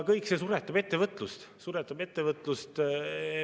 Kõik see suretab ettevõtlust.